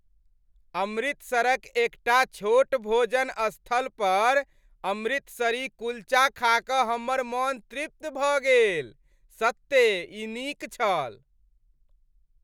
अमृतसरक एकटा छोट भोजन स्थल पर अमृतसरी कुल्चा खा कऽ हमर मन तृप्त भऽ गेल। सत्ते ई नीक छल